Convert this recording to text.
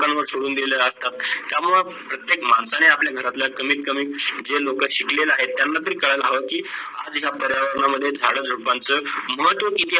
कानावर सुडून दिल आहे, त्या मुडे प्रत्येक माणसाने आपल्या घरातलं कमीत कमी, जे लोक शिकलेला आहेत त्यांना तरी करायला हवे की आज आपल्या पर्यावरणचे झाडे सोपान चा महत्व किती आहेत.